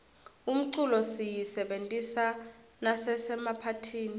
umculo siyisebentisa nasemaphatihni